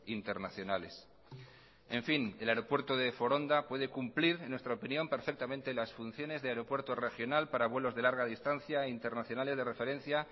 internacionales en fin el aeropuerto de foronda puede cumplir en nuestra opinión perfectamente las funciones de aeropuerto regional para vuelos de larga distancia internacionales de referencia